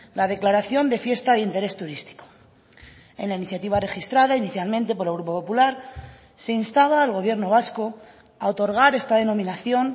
la declaración de fiesta de interés turístico en la iniciativa registrada inicialmente por el grupo popular se instaba al gobierno vasco a otorgar esta denominación